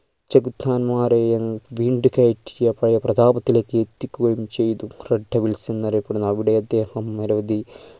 ചെഗുത്താന്മാരെയും വീണ്ടു കയറ്റിയ പ്ര പ്രഭാത്തിലേക്ക് എത്തിക്കുകയും ചെയ്തു red devils എന്നറിയപ്പെടുന്ന അവിടെ അദ്ദേഹം മെരുകി